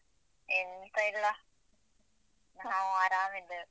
ಎಂತ ಇಲ್ಲ, ನಾವು ಆರಾಮಿದ್ದೇವೆ.